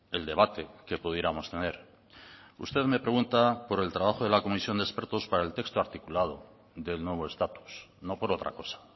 el debate que pudiéramos tener usted me pregunta por el trabajo de la comisión de expertos para el texto articulado del nuevo estatus no por otra cosa